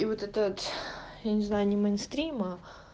и вот этот вот я не знаю не мейнстрима